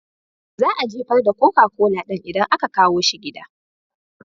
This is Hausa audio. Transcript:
Za a jefar da koka kola ɗin idan aka kawo shi gida.